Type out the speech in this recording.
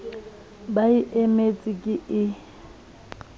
ba e emetseng ke e